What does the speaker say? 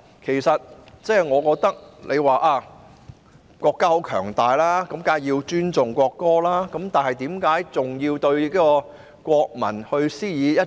有人說國家十分強大，當然要尊重國歌，但為何還要對國民施加